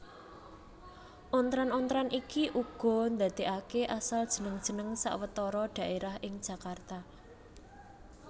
Ontran ontran iki uga ndadèkaké asal jeneng jeneng sawetara dhaérah ing Jakarta